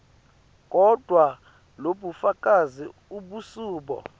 kodvwa lobufakazi abusibo